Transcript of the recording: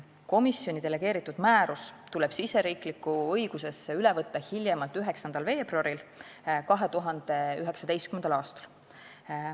Komisjoni delegeeritud määrus tuleb riigisisesesse õigusesse üle võtta hiljemalt 9. veebruaril 2019. aastal.